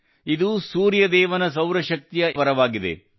ಇದು ಸೂರ್ಯದೇವನ ಸೌರಶಕ್ತಿಯ ಏಕೈಕ ವರವಾಗಿದೆ